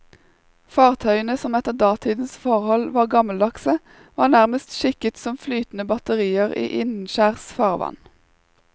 Fartøyene, som etter datidens forhold var gammeldagse, var nærmest skikket som flytende batterier i innenskjærs farvann.